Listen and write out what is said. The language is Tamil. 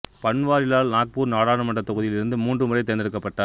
பன்வாரிலால் நாக்பூர் நாடாளுமன்றத் தொகுதியில் இருந்து மூன்று முறை தேர்ந்தெடுக்கப்பட்டார்